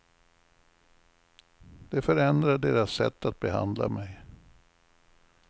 Det förändrar deras sätt att behandla mig.